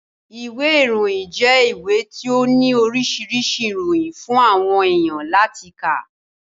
Ìwé ìròyìn jẹ́ ìwé tí ó ní oríṣiríṣi ìròyìn fún àwọn èèyàn láti kà